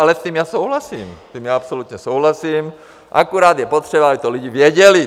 Ale s tím já souhlasím, s tím já absolutně souhlasím, akorát je potřeba, aby to lidi věděli.